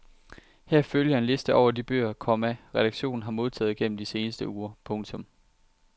Her følger en liste over de bøger, komma redaktionen har modtaget gennem de seneste uger. punktum